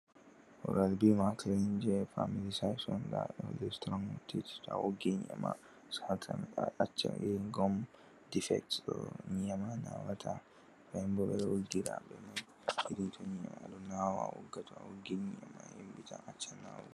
"Oral-B maakilin" jey "faamilii saayis" on, ndaa ɗum bee "sitiromatiit" to a woggi nyii'e maa saatan. To a ɗo acca "irin gom difekt" ɗoo nyii'e maa naawataa. Nden boo ɓe ɗon woggira ..... to ɗon naawa a wogga, to a woggi nii nyii'e maa yamɗitan acca naawugo.